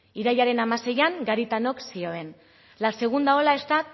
irailaren hamaseian garitanok zioen la segunda ola está